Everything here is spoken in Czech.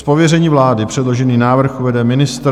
Z pověření vlády předložený návrh uvede ministr...